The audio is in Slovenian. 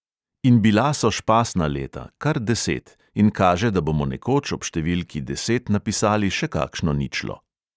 In bila so špasna leta, kar deset, in kaže, da bomo nekoč ob številki deset napisali še kakšno ničlo.